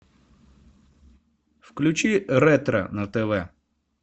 включи ретро на тв